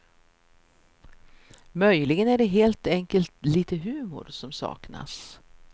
Möjligen är det helt enkelt lite humor som saknas.